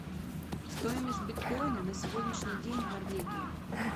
стоимость биткоина на сегодняшний день в норвегии